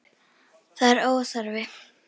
Það er óþarfi.